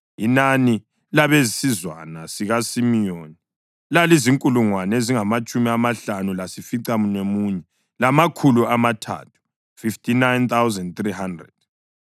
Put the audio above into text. Inani labesizwana sikaSimiyoni lalizinkulungwane ezingamatshumi amahlanu lasificamunwemunye, lamakhulu amathathu (59,300).